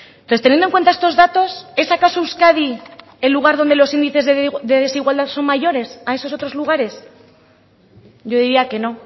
entonces teniendo en cuenta estos datos es acaso euskadi el lugar donde los índices de desigualdad son mayores a esos otros lugares yo diría que no